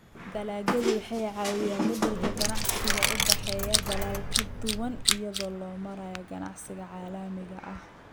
Dalagyadu waxay caawiyaan beddelka ganacsiga u dhexeeya dalal kala duwan iyada oo loo marayo ganacsiga caalamiga ah.